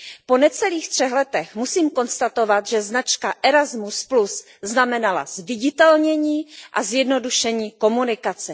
Po necelých třech letech musím konstatovat, že značka Erasmus znamenala zviditelnění a zjednodušení komunikace.